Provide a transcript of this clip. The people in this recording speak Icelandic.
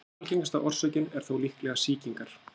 Algengasta orsökin er þó líklega sýkingar.